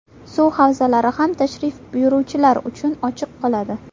Suv havzalari ham tashrif buyuruvchilar uchun ochiq qoladi.